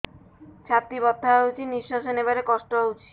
ଛାତି ବଥା ହଉଚି ନିଶ୍ୱାସ ନେବାରେ କଷ୍ଟ ହଉଚି